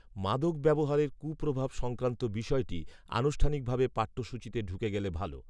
মাদক ব্যবহারের কুপ্রভাব সংক্রান্ত বিষয়টি, আনুষ্ঠানিকভাবে, পাঠ্যসূচিতে ঢুকে গেলে ভাল